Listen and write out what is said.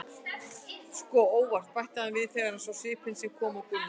Sko, ÓVART, bætti hann við þegar hann sá svipinn sem kom á Gunna.